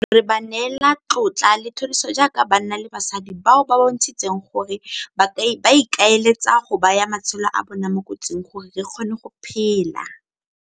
Re ba neela tlotla le thoriso jaaka banna le basadi bao ba bontshitseng gore ba ikaeletse go baya matshelo a bona mo kotsing gore re kgone go phela.